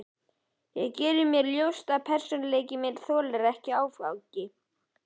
Ég geri mér ljóst að persónuleiki minn þolir ekki áfengi.